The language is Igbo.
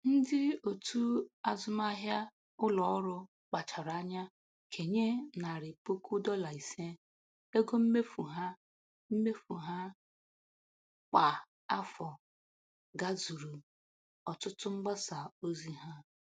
Ndị otu azụmahịa ụlọọrụ kpachara anya kenye narị puku dọla ise ego mmefu ha mmefu ha kwa afọ gazuru ọtụtụ mgbasa ozi ha.